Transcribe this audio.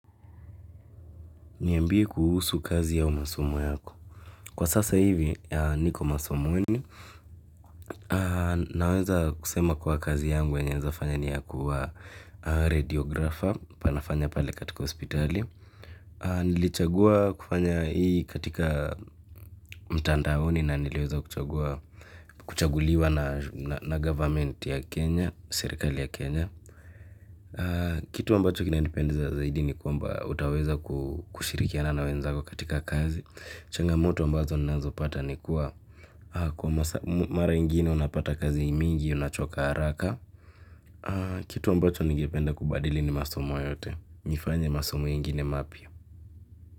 Niambie kuhusu kazi au masomo yako. Kwa sasa hivi, niko masomoni. Naweza kusema kuwa kazi yangu yenye naezafanya ni ya kuwa rediografa panafanya pale katika hospitali. Nilichagua kufanya hii katika mtandaoni na niliweza kuchaguliwa na serikali ya Kenya kitu ambacho kinanipendeza ni kwamba utaweza kushirikiana na wenzako katika kazi, changamoto ambazo ninazopata ni kuwa, kwa mara ngine unapata kazi mingi, unachoka haraka. Kitu ambacho ningependa kubadili ni masomo yote, nifanye masomo ingine mapya.